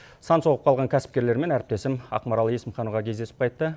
сан соғып қалған кәсіпкерлермен әріптесім ақмарал есімханова кездесіп қайтты